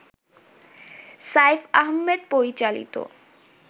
সাইফ আহমেদ পরিচালিত